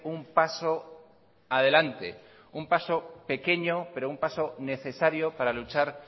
un paso adelante un paso pequeño pero un paso necesario para luchar